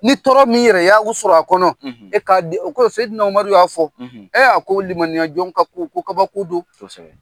Ni tɔɔrɔ min yɛrɛ y'a u sɔrɔ a kɔnɔ , e k'a di, u ko oumar y'a fɔ , a ko de, limaniya kɔni ka ko bɛɛ ka ko kaba ko don.kosɛbɛ.